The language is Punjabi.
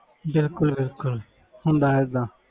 ਬਿਲਕੁਲ ਬਿਲਕੁਲ ਹੁੰਦਾ ਹੈ ਏਦਾਂ।